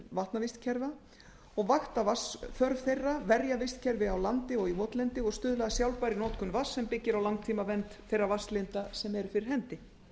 ástand vatnavistkerfa og vakta vatnsþörf þeirra verja vistkerfi á landi og í votlendi og stuðla að sjálfbærri notkun vatns sem byggir á langtímavernd þeirra vatnslinda sem eru fyrir hendi